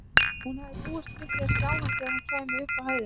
Hún hafði búist við að sjá hann þegar hún kæmi upp á hæðina.